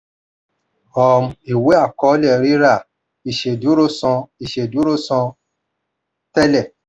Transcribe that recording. um ìwé àkọọ́lé rírà ìṣèdúró san ìṣèdúró san tẹlẹ.